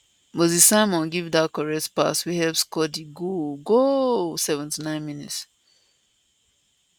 moses simon give dat correct pass wey help score di goal goooaaaalll 79mins